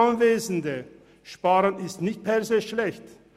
Sparen ist nicht per se schlecht.